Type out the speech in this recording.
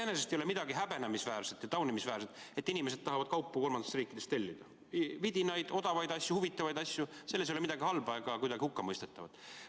Iseenesest ei ole midagi häbenemisväärset ja taunimisväärset, et inimesed tahavad kolmandatest riikidest tellida kaupu, vidinaid, odavaid, huvitavaid asju, selles ei ole midagi halba ega midagi hukkamõistetavat.